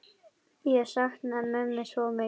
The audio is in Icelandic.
Ég sakna mömmu svo mikið.